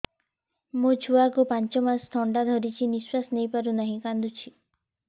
ମୋ ଛୁଆକୁ ପାଞ୍ଚ ମାସ ଥଣ୍ଡା ଧରିଛି ନିଶ୍ୱାସ ନେଇ ପାରୁ ନାହିଁ କାଂଦୁଛି